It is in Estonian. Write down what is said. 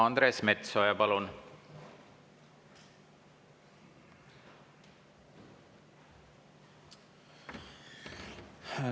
Andres Metsoja, palun!